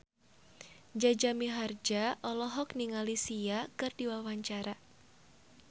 Jaja Mihardja olohok ningali Sia keur diwawancara